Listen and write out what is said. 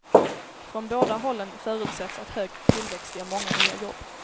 Från båda hållen förutsätts att hög tillväxt ger många nya jobb.